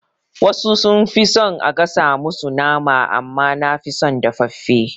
Wasu sun fi son a gasa musu nama amma nafi son dafaffe.